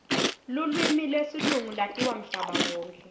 lulwimi lesilungu latiwa mhlaba wonkhe